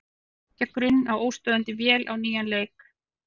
Hann er að byggja grunn að óstöðvandi vél á nýjan leik.